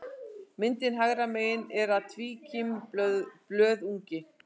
Myndin hægra megin er af tvíkímblöðungi.